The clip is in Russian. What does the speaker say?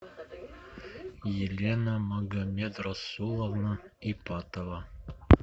елена магомедрасуловна ипатова